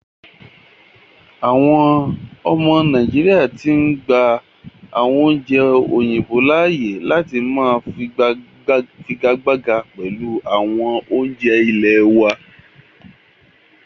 Àwọn ọmọ nàìjíríà tí ń gbà àwọn oúnjẹ òyìnbó láàyè láti máà fi igagbága pẹlu awọn oúnjẹ ilẹ̀ wa.